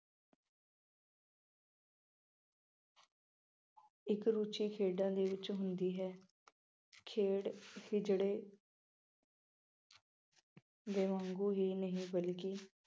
ਇੱਕ ਰੁਚੀ ਭੇਡਾਂ ਦੇ ਵਿੱਚ ਹੁੰਦੀ ਹੇ। ਭੇਡ ਕਿ ਜਿਹੜੇ ਦੇ ਵਾਂਗੂੰ ਹੀ ਨਹੀਂ ਬਲਕਿ